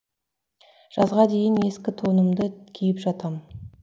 жазға дейін ескі тонымды киіп жатам